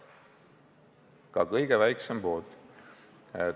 Ka kõige väiksem pood!